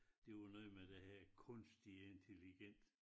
Det jo noget med det her kunstig intelligens